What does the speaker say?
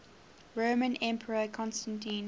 roman emperor constantine